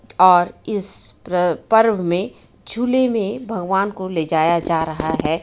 और इस प्र-पर्व में झूले में भगवान को ले जाया जा रहा है.